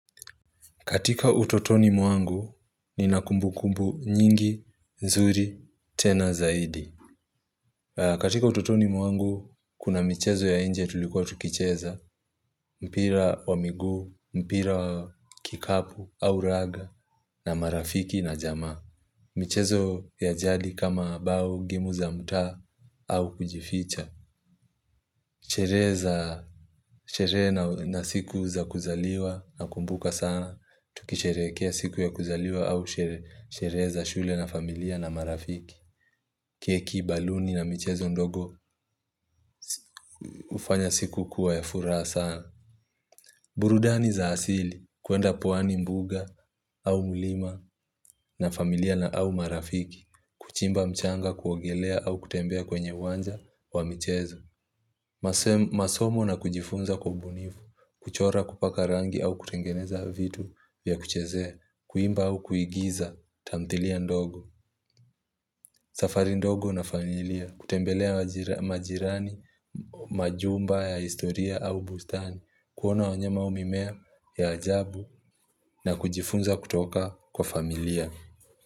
Katika utotoni mwangu, nina kumbukumbu nyingi, nzuri, tena zaidi. Katika utotoni mwangu, kuna michezo ya nje tulikuwa tukicheza, mpira wa miguu, mpira wa kikapu, au raga, na marafiki na jamaa. Michezo ya jadi kama bao gemu za mtaa au kujificha. Sherehe na siku za kuzaliwa nakumbuka sana Tukisherehekea siku ya kuzaliwa au sherehe za shule na familia na marafiki keki, baluni na michezo ndogo hufanya siku kuwa ya furaha sana burudani za asili kuenda pwani mbuga au mlima na familia na au marafiki Kuchimba mchanga kuogelea au kutembea kwenye uwanja wa mchezo masomo na kujifunza kwa ubunifu, kuchora kupaka rangi au kutengeneza vitu ya kuchezea, kuimba au kuigiza tamthilia ndogo. Safari ndogo na familia, kutembelea majirani, majumba ya historia au bustani, kuona wanyama au mimea ya ajabu na kujifunza kutoka kwa familia.